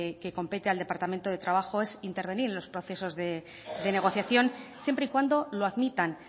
que compete al departamento de trabajo es intervenir en los procesos de negociación siempre y cuando lo admitan